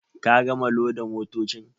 Ka gama loda motocin.